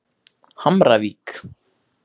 Hamravík